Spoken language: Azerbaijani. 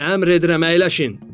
Əmr edirəm, əyləşin!